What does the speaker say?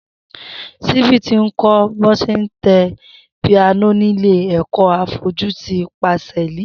Simbi ti kọ̀ bọ ṣé n tẹ pìánó nilé ẹkọ áfọ̀jû ti pásẹ̀lí